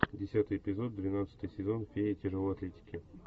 десятый эпизод двенадцатый сезон феи тяжелой атлетики